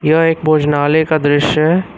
यह एक भोजनालय का दृश्य है।